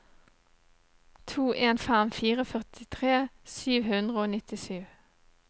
to en fem fire førtitre sju hundre og nittisju